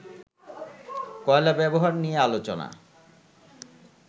কয়লা ব্যবহার নিয়ে আলোচনা